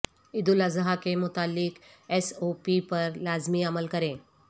عید الاضحی کے متعلق S O P پر لازمی عمل کریں